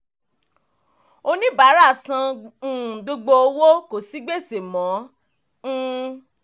oníbàárà san um gbogbo owó kò sí gbèsè mọ́. um